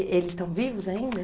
Eles estão vivos ainda?